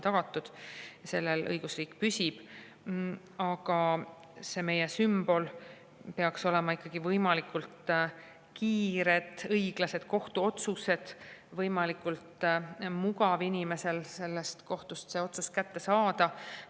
Aga meie sümbol peaks olema ikkagi võimalikult kiired ja õiglased kohtuotsused, inimesel peab olema võimalikult mugav kohtust otsus kätte saada.